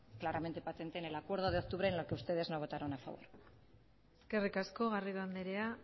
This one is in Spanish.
claramente patente en el acuerdo de octubre en el que ustedes no votaron a favor eskerrik asko garrido andrea